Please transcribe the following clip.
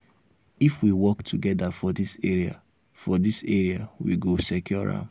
if we work together for dis area for dis area we go secure am.